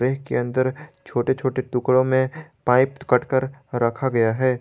के अंदर छोटे छोटे टुकड़ों में पाइप कट कर रखा गया है।